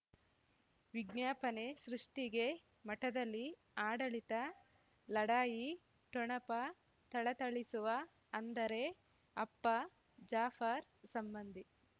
ವಿಜ್ಞಾಪನೆ ಸೃಷ್ಟಿಗೆ ಮಠದಲ್ಲಿ ಆಡಳಿತ ಲಢಾಯಿ ಠೊಣಪ ಥಳಥಳಿಸುವ ಅಂದರೆ ಅಪ್ಪ ಜಾಫರ್ ಸಂಬಂಧಿ